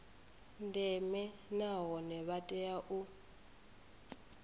ndeme nahone vha tea u